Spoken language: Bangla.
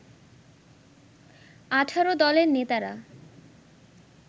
১৮ দলের নেতারা